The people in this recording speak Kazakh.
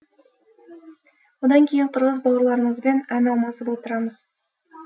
одан кейін қырғыз бауырларымызбен ән алмасып отырамыз